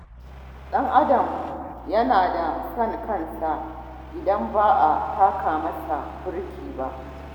Ɗan Adam na da son kansa idan ba a taka masa birki ba